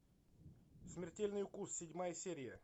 смертельный укус седьмая серия